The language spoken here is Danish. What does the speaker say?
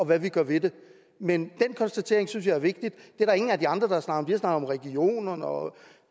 hvad vi gør ved det men den konstatering synes jeg er vigtig det er der ingen af de andre har snakket om regionerne og